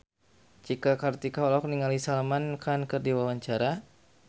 Cika Kartika olohok ningali Salman Khan keur diwawancara